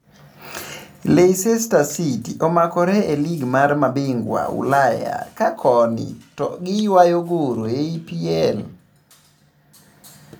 Leicester city okmakre e lig mar mabingwa Ulaya ka koni to giywaa goro EPL.